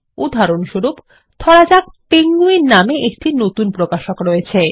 উদাহরণস্বরূপ ধরা যাক পেঙ্গুইন নামে একটি নতুন প্রকাশক রয়েছে